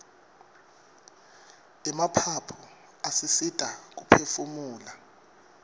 emaphaphu asisita kuphefumula